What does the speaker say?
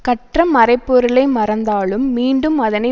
கற்ற மறைப் பொருளை மறந்தாலும் மீண்டும் அதனை